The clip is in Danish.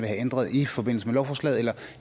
have ændret i forbindelse med lovforslaget eller